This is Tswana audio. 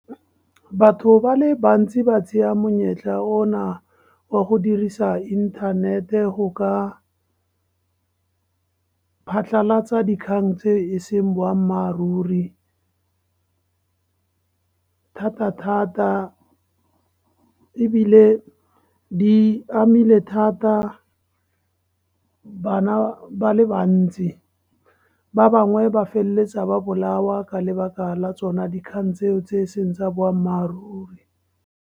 Batho ba le bantsi ba tseya monyetla ona wa go dirisa inthanete go ka phatlhalatsa dikgang tse e seng boammaaruri, thata-thata, ebile di amile thata bana ba le bantsi. Ba bangwe ba feleletsa ba bolawa ka lebaka la tsona dikgang tseo, tse e seng tsa boammaaruri.